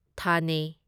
ꯊꯥꯅꯦ